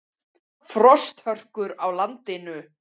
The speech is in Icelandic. Frosthörkur á landinu